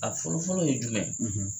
A fɔlɔ fɔlɔ ye jumɛn ?